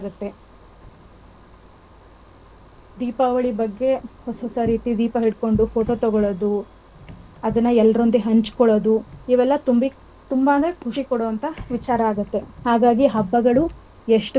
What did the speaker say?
ದೀಪಾವಳಿ ಬಗ್ಗೆ ಹೊಸ ಹೊಸರೀತಿ ದೀಪಗಲಿಟ್ಟುಕೊಂಡು photo ತಗೊಳೋದು ಅದನ್ನ ಎಲ್ಲರೊಂದಿಗೆ ಹಂಚಕೊಳ್ಳೋದು ಇವೆಲ್ಲ ತುಂಬಾನೇ ಖುಷಿ ಕೊಡೋ ವಿಚಾರ ಆಗುತ್ತೆ. ಹಾಗಾಗಿ ಹಬ್ಬಗಳು ಎಷ್ಟು ಬಂದ್ರೂ ಕೂಡ ನಮ್ಮಗಾಗ್ಲಿ ನಮ್ ಮನೆವರಿಗಾಗ್ಲಿ.